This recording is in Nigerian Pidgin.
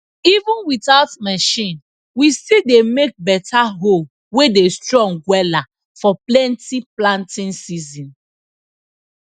even without machine we still dey make beta hoe wey dey strong wela for plenty planting season